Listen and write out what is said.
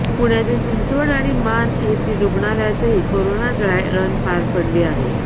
पुण्यातील चिंचवड आणि मान येथील रुग्णालयातही कोरोना ड्राय रन पार पडली आहे